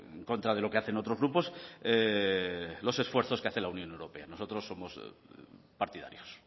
en contra de lo que hacen otros grupos los esfuerzos que hace la unión europea nosotros somos partidarios